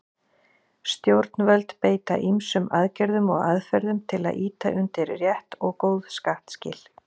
Stjórnvöld beita ýmsum aðgerðum og aðferðum til að ýta undir rétt og góð skattskil.